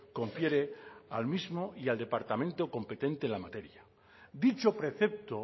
confiere al mismo y al departamento competente en la materia dicho precepto